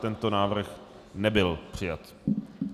Tento návrh nebyl přijat.